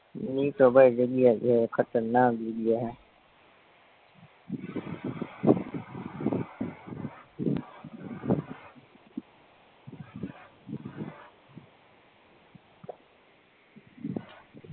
ઈટો ભાઈ જગ્યા હે ખતરનાક જગ્યા હે